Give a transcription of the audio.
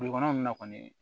Dugukɔnɔ na kɔni